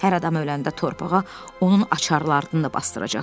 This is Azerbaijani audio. Hər adam öləndə torpağa onun açarlarını da basdıracaqlar.